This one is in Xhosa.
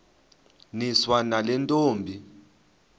niswa nale ntombi